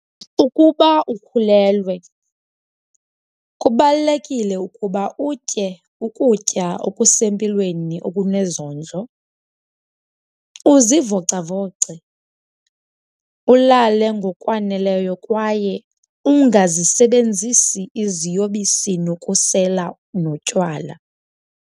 Ukuba ukhulelwe, kubalulekile ukuba utye ukutya okusempilweni okunezondlo, uzivocavoce, ulale ngokwaneleyo kwaye ungazisebenzisi iziyobisi nokusela notywala.